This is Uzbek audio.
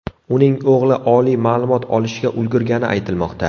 Uning o‘g‘li oliy ma’lumot olishga ulgurgani aytilmoqda.